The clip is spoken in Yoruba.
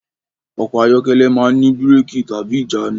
Ọkọ̀ ayọ́kẹ́lẹ̀ máa ń ní bírẹ́kì/ìjánu.